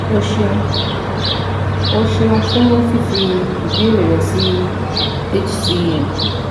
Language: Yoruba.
O ṣeun! O ṣeun fun fifi ibeere rẹ si HCM